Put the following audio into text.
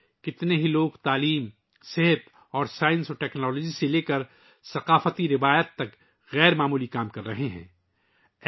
بہت سے لوگ تعلیم، طب اور سائنس ٹیکنالوجی سے لے کر ثقافت روایات تک غیر معمولی کام انجام دے رہے ہیں